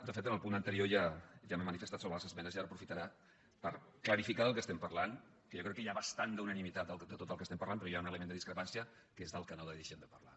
de fet en el punt anterior ja m’he manifestat sobre les esmenes i ara ho aprofitaré per clarificar de què estem parlant que jo crec que hi ha bastant unanimitat en tot el que estem parlant però hi ha un element de discrepància que és del que no deixem de parlar